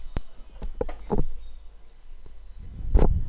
અ